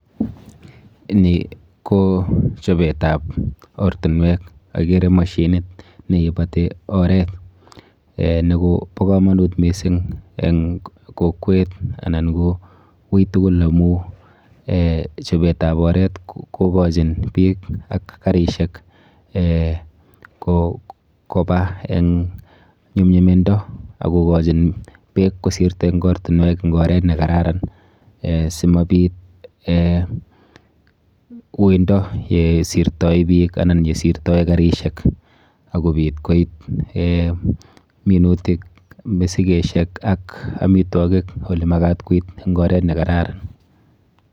Ni ko chopetap ortinwek. Akere mashinit neipoti oret. Ni kopo komonut mising eng kokwet anan ko ui tugul amu eh chopetap oret kokochin biik ak karishek eh kopa eng nyumnyumindo ak kokochin beek kosirto eng ortinwek eng oret nekararan si mobit eh uindo yesirtoi biik anan yesirtoi karishek ak kobit koit eh minutik, misikeshek ak amitwikik olemakat koit eng oret nekararan.